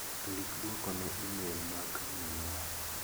Ndik duoko ne imel mag minwa.